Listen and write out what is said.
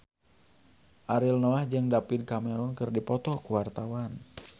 Ariel Noah jeung David Cameron keur dipoto ku wartawan